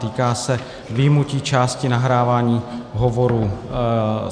Týká se vyjmutí části nahrávání hovorů.